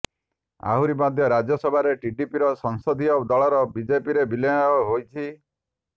ଆହୁରି ମଧ୍ୟ ରାଜ୍ୟସଭାରେ ଟିଡିପିର ସଂସଦୀୟ ଦଳର ବିଜେପିରେ ବିଲୟ ହୋଇଛି